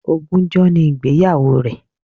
Ogúnjọ́ ni ìgbéyàwó rẹ̀